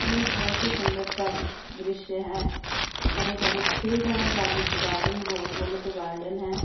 यह बहुत ही सुंदर प्राकृतिक दृश्य है हरे भरे फील्ड है बागीचे गार्डन बोले तो गार्डन है।